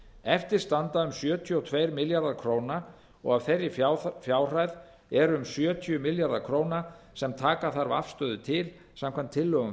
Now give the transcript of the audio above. eftir standa um sjötíu og tveir milljarðar króna og af þeirri fjárhæð eru um sjötíu milljarðar króna sem taka þarf afstöðu til samkvæmt tillögum